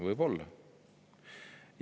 Võib-olla.